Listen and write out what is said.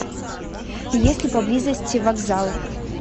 есть ли поблизости вокзал